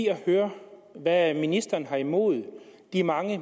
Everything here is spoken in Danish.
at høre hvad ministeren har imod de mange